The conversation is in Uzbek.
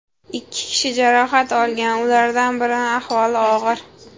Ikki kishi jarohat olgan, ulardan birini ahvoli og‘ir.